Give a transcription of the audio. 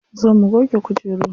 Zo mu goge kujeru.